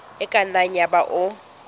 e ka nna yaba o